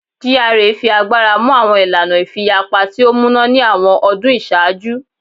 GRA fi agbara mu awọn ilana ifiyapa ti o muna ni awọn ọdun iṣaaju